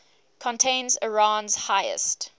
contains iran's highest